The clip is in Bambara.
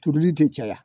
Turuli tɛ caya